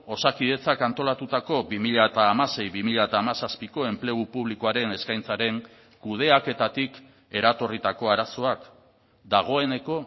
osakidetzak antolatutako bi mila hamasei bi mila hamazazpiko enplegu publikoaren eskaintzaren kudeaketatik eratorritako arazoak dagoeneko